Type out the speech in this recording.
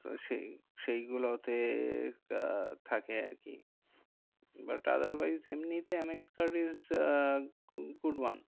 তো সেই সেই গুলোতে আহ থাকে আরকি but other wise এমনি তে M X card is a good one.